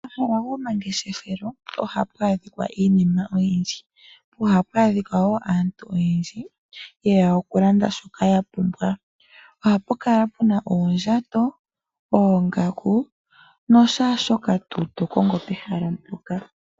Omahala gomangeshefelo ohapu adhika iinima oyindji, po ohapu adhika wo aantu oyendji yeya okulanda shoka ya pumbwa. Ohapu kala puna uundjato, oongaku noshaashoka tuu tokongo pehala mpoka.